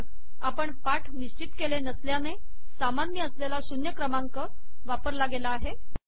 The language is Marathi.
पण आपण पाठ निश्चित केले नसल्याने सामान्य असलेला शून्य क्रमांक वापरला गेला आहे